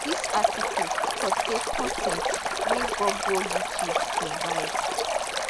dis article contain con ten t wey google youtube provide